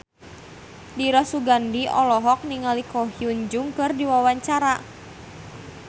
Dira Sugandi olohok ningali Ko Hyun Jung keur diwawancara